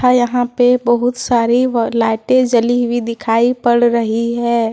यहां पे बहुत सारी लाइटें जली हुई दिखाई पड़ रही है।